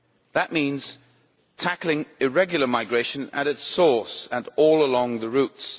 That means tackling irregular migration at its source and all along the routes.